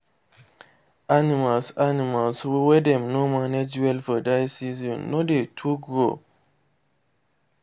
animals animals wey dem no mange well for dry season no dey too grow